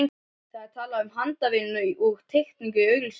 Það var talað um handavinnu og teikningu í auglýsingunni.